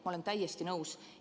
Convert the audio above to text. Ma olen täiesti nõus.